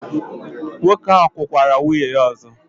Nwoke ahụ kụkwara nwunye ya ọzọ?